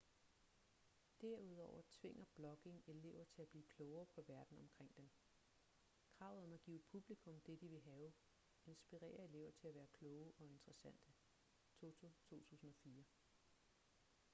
derudover tvinger blogging elever til at blive klogere på verden omkring dem. kravet om at give publikum det de vil have inspirerer elever til at være kloge og interessante toto 2004